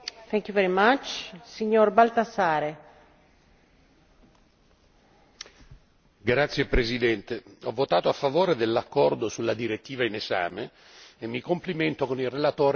Signora Presidente, ho votato a favore dell'accordo sulla direttiva in esame e mi complimento con il relatore per l'eccellente lavoro svolto.